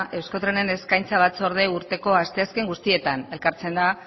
eusko trenen eskaintza batzordea urteko asteazken guztietan elkartzen da